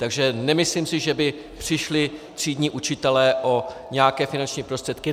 Takže nemyslím si, že by přišli třídní učitelé o nějaké finanční prostředky.